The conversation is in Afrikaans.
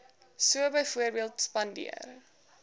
so byvoorbeeld spandeer